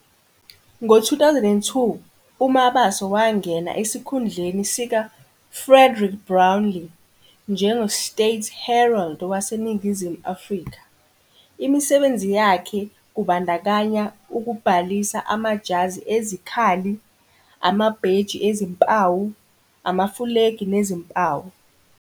Ngo-2002 uMabaso wangena esikhundleni sikaFrederick Brownell njengoState Herald waseNingizimu Afrika. Imisebenzi yakhe kubandakanya ukubhalisa amajazi ezikhali, amabheji ezimpawu, amafulegi nezimpawu.